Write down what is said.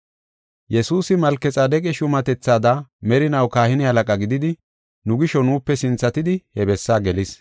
Yesuusi Malkexaadeqa shuumatethaada merinaw kahine halaqa gididi, nu gisho nuupe sinthatidi he bessaa gelis.